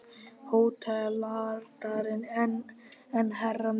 HÓTELHALDARI: En herra minn!